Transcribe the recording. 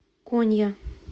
конья